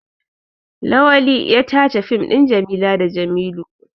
Lawali ya tace fim ɗin Jamila da Jamilu.